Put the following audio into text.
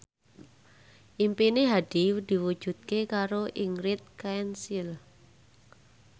impine Hadi diwujudke karo Ingrid Kansil